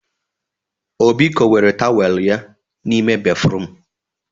Obi kowere tawel ya n'ime béfrụm.